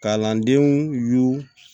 Kalandenw y'u